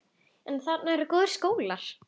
En þarna eru góðir skólar.